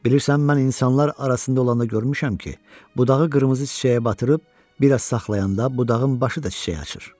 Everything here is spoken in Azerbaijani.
Bilirsən, mən insanlar arasında olanda görmüşəm ki, bu dağı qırmızı çiçəyə batırıb bir az saxlayanda, budağın başı da çiçək açır.